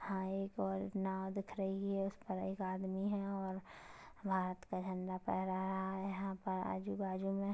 हाय एक और नाँव दिख रही हैं उस पर एक आदमी हैं और भारत का झंडा फेहरा रहा हैं यहाँ पर आजू-बाजू में--